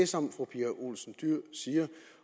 som fru pia olsen dyhr siger